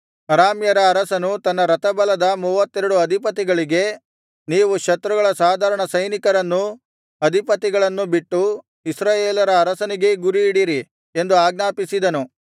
ಅರಾಮ್ಯರ ಅರಸನು ತನ್ನ ರಥಬಲದ ಮೂವತ್ತೆರಡು ಅಧಿಪತಿಗಳಿಗೆ ನೀವು ಶತ್ರುಗಳ ಸಾಧಾರಣ ಸೈನಿಕರನ್ನೂ ಅಧಿಪತಿಗಳನ್ನು ಬಿಟ್ಟು ಇಸ್ರಾಯೇಲರ ಅರಸನಿಗೇ ಗುರಿಯಿಡಿರಿ ಎಂದು ಆಜ್ಞಾಪಿಸಿದನು